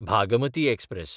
Bhagmati express